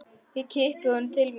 Ég kippi honum til mín.